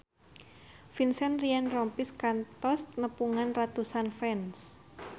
Vincent Ryan Rompies kantos nepungan ratusan fans